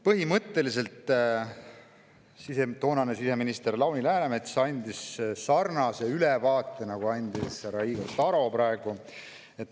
Põhimõtteliselt andis toonane siseminister Lauri Läänemets sarnase ülevaate, nagu andis härra Igor Taro praegu.